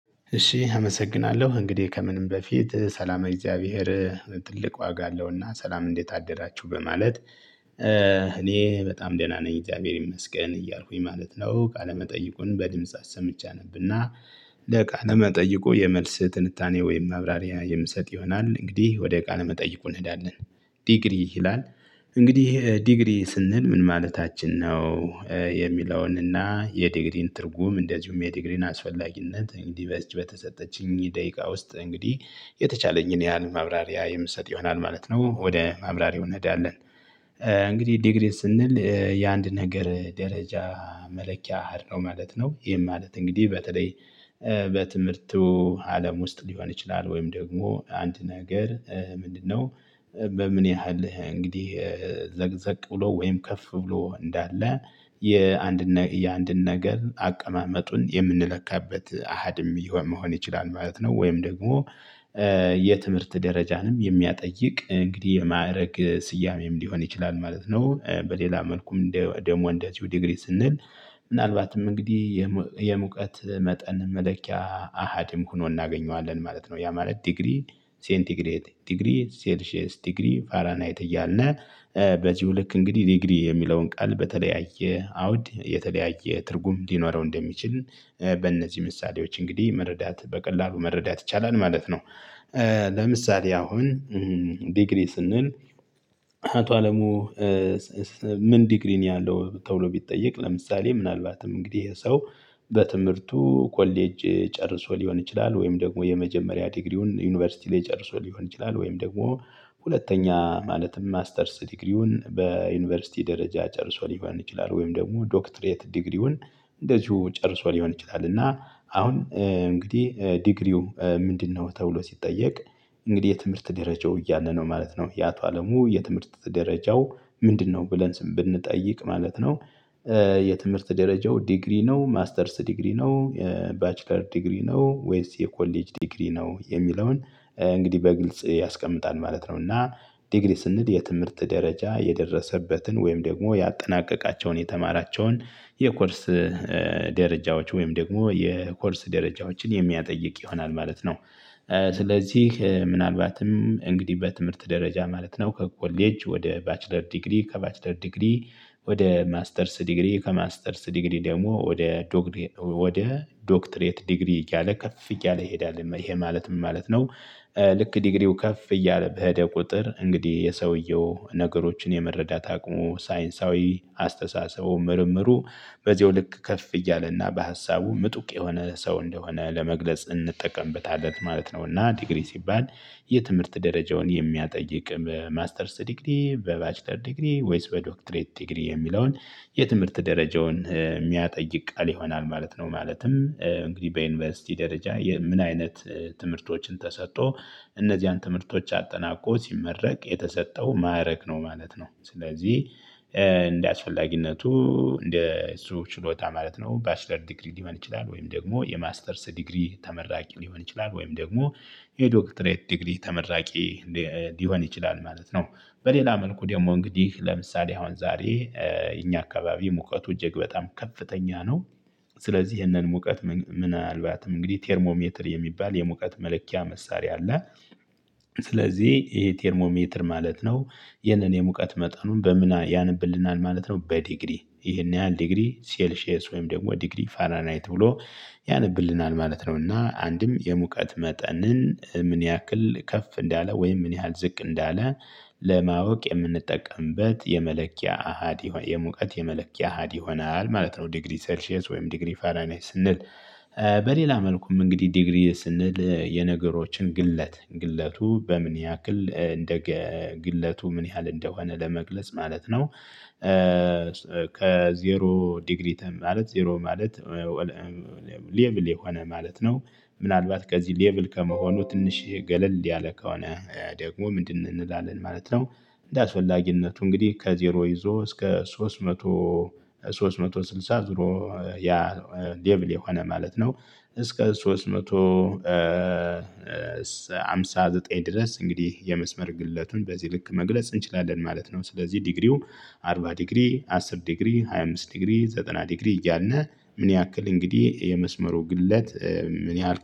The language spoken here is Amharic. እሺ አመሰግናለሁ እንግዲህ ከምንም በፊት ሰላመ እግዚአብሔር ትልቅ ዋጋ አለውና ሰላም እንዴት አደራችሁ በማለት እኔ በጣም ደህና ነኝ እግዚአብሔር ይመስገን እያልኩኝ ማለት ነው። ቃለመጠይቁን በድምጽ አሰምቼ አነብና። ለቃለ መጠይቁ የመልስ ትንታኔ ወይም ማብራሪያ የምሰጥ ይሆናል እንግዲህ ወደ ቃል መጠይቁ እንሄዳለን። ዲግሪ ይላል። እንግዲህ ዲግሪ ስንል ምን ማለታችን ነው? የሚለውንና የዲግሪን ትርጉም እንደዚሁም የዲግሪን አስፈላጊነት እንግዲህ በዚች በተሰጠችኝ ደቂቃ ውስጥ እንግዲህ የተቻለኝን ያህል ማብራሪያ የምሰጥ ይሆናል ማለት ነው ወደ ማብራሪያው እንሄዳለን። እንግዲህ ዲግሪ ስንል የአንድ ነገር ደረጃ መለኪያ አሃድ ነው ማለት ነው። ይሄም ማለት እንግዲህ በተለይ በትምህርቱ አለም ውስጥ ሊሆን ይችላል ወይም ደግሞ አንድ ነገር ምንድነው? በምን ያህል እንግዲህ ዘቅዘቅ ብሎ ወይም ከፍ ብሎ እንዳለ የአንድ የአንድን ነገር አቀማመጡን የምንለካበት አሃድም ይሆን መሆን ይችላል ማለት ነው። ወይም ደግሞ የትምህርት ደረጃንም የሚያጠይቅ እንግዲህ የማዕረግ ስያሜም ሊሆን ይችላል ማለት ነው። በሌላ መልኩም ደግሞ እንደዚሁ ዲግሪ ስንል ምናልባትም እንግዲህ የሙቀት መጠን መለኪያ አሃድም ሆኖ እናገኘዋለን ማለት ነው። ያ ማለት ዲግሪ ሴንቲግሬት ዲግሪ ሴልሺየስ ዲግሪ ፋራናይት እያልነ በዚሁ ልክ እንግዲህ ዲግሪ የሚለውን ቃል በተለያየ አውድ የተለያየ ትርጉም ሊኖረው እንደሚችል በእነዚህ ምሳሌዎች እንግዲህ መረዳት በቀላሉ መረዳት ይቻላል ማለት ነው። ለምሳሌ አሁን ዲግሪ ስንል። አቶ አለሙ? ምን ዲግሪ ነው ያለው ተብሎ ቢጠየቅ ለምሳሌ ምናልባትም እንግዲህ ይሄ ሰው በትምህርቱ ኮሌጅ ጨርሶ ሊሆን ይችላል ወይም ደግሞ የመጀመሪያ ዲግሪውን ዩኒቨርሲቲ ላይ ጨርሶ ሊሆን ይችላል ወይም ደግሞ ሁለተኛ ማለትም ማስተርስ ዲግሪውን በዩኒቨርሲቲ ደረጃ ጨርሶ ሊሆን ይችላል ወይም ደግሞ ዶክትሬት ዲግሪውን እንደዚሁ ጨርሶ ሊሆን ይችላል እና አሁን እንግዲህ ዲግሪው ምንድነው ተብሎ ሲጠየቅ? እንግዲህ የትምህርት ደረጃው እያለ ነው ማለት ነው የአቶ አለሙ የትምህርት ደረጃው ምንድነው ብለን ስን ብንጠይቅ ማለት ነው? የትምህርት ደረጃው ዲግሪ ነው ማስተርስ ዲግሪ ነው። ባችለር ዲግሪ ነው ወይስ የኮሌጅ ዲግሪ ነው የሚለውን እንግዲህ በግልጽ ያስቀምጣል ማለት ነውና። ዲግሪ ስንል የትምህርት ደረጃ የደረሰበትን ወይም ደግሞ ያጠናቀቃቸውን የተማራቸውን የኮርስ ደረጃዎች ወይም ደግሞ የኮርስ ደረጃዎችን የሚያጠይቅ ይሆናል ማለት ነው። ስለዚህ ምናልባትም እንግዲህ በትምህርት ደረጃ ማለት ነው ከኮሌጅ ወደ ባችለር ዲግሪ ከባችለር ዲግሪ ወደ ማስተርስ ዲግሪ ከማስተርስ ዲግሪ ደግሞ ወደ ወደ ዶክትሬት ዲግሪ እያለ ከፍ እያለ ይሄዳል ይሄ ማለት ምን ማለት ነው? ልክ ዲግሪው ከፍ እያለ በሄደ ቁጥር እንግዲህ የሰውየው ነገሮችን የመረዳት አቅሙ ሳይንሳዊ አስተሳሰቡ ምርምሩ በዚሁ ልክ ከፍ እያለና በሀሳቡ ምጡቅ የሆነ ሰው እንደሆነ ለመግለጽ እንጠቀምበታለን ማለት ነው። እና ዲግሪ ሲባል የትምህርት ደረጃውን የሚያጠይቅ ማስተርስ ዲግሪ በባችለር ዲግሪ ወይስ በዶክትሬት ዲግሪ የሚለውን የትምህርት ደረጃውን የሚያጠይቅ ቃል ይሆናል ማለት ነው። ማለትም እንግዲህ በዩኒቨርሲቲ ደረጃ ምን አይነት ትምህርቶችን ተሰጥቶ እነዚያን ትምህርቶች አጠናቆ ሲመረቅ የተሰጠው ማዕረግ ነው ማለት ነው። ስለዚህ እንደ አስፈላጊነቱ እንደ እሱ ችሎታ ማለት ነው ባችለር ዲግሪ ሊሆን ይችላል ወይም ደግሞ የማስተርስ ዲግሪ ተመራቂ ሊሆን ይችላል ወይም ደግሞ የዶክትሬት ዲግሪ ተመራቂ ሊሆን ይችላል ማለት ነው። በሌላ መልኩ ደግሞ እንግዲህ ለምሳሌ አሁን ዛሬ እኛ አካባቢ ሙቀቱ እጅግ በጣም ከፍተኛ ነው። ስለዚህ ይህንን ሙቀት ምናልባትም እንግዲህ ቴርሞሜትር የሚባል የሙቀት መለኪያ መሳሪያ አለ። ስለዚህ ይሄ ቴርሞሜትር ማለት ነው። የኔን የሙቀት መጠኑን በምን ያነብልናል ማለት ነው በዲግሪ ይሄን ያህል ዲግሪ ሴልሼስ ወይም ደግሞ ዲግሪ ፋራናይት ብሎ ያነብልናል ማለት ነውና። አንድም የሙቀት መጠንን ምን ያክል ከፍ እንዳለ ወይም ምን ያህል ዝቅ እንዳለ? ለማወቅ የምንጠቀምበት የመለኪያ አሃድ የሙቀት የመለኪያ አሃድ ይሆናል ማለት ነው። ዲግሪ ሰልሺየስ ወይም ዲግሪ ፋራንሃይት ስንል። በሌላ መልኩም እንግዲህ ዲግሪ ስንል የነገሮችን ግለት ግለቱ በምን ያክል እንደ ግለቱ ምን ያህል እንደሆነ ለመግለጽ ማለት ነው። ከዜሮ ዲግሪ ማለት ዜሮ ማለት ሌብል የሆነ ማለት ነው። ምናልባት ከዚህ ሌብል ከመሆኑ ትንሽ ገለል ያለ ከሆነ ደግሞ ምንድን እንላለን ማለት ነው። እንደ አስፈላጊነቱ እንግዲህ ከዜሮ ይዞ እስከ ሶስት መቶ ሶስት መቶ ስልሳ ዜሮ ያ ሌብል የሆነ ማለት ነው። እስከ ሶስት መቶ ሃምሳ ዘጠኝ ድረስ እንግዲህ የመስመር ግለቱን በዚህ ልክ መግለጽ እንችላለን ማለት ነው። ስለዚህ ዲግሪው አርባ ዲግሪ አስር ዲግሪ ሃያ አምስት ዲግሪ ዘጠና ዲግሪ እያልን ምን ያክል እንግዲህ የመስመሩ ግለት ምን ያህል